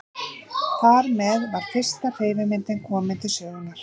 Þar með var fyrsta hreyfimyndin komin til sögunnar.